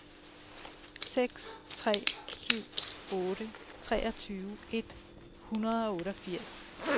seks tre syv otte treogtyve et hundrede og otteogfirs